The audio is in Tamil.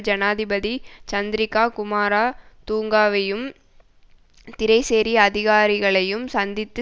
ஜனாதிபதி சந்திரிகா குமாரா துங்கவையும் திறைசேரி அதிகாரிகளையும் சந்தித்து